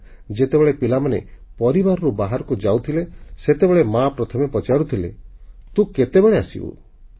ସମୟ ଥିଲା ଯେତେବେଳେ ପିଲାମାନେ ପରିବାରରୁ ବାହାରକୁ ଯାଉଥିଲେ ସେତେବେଳେ ମାଆ ପ୍ରଥମେ ପଚାରୁଥିଲେ ତୁ କେତେବେଳେ ଆସିବୁ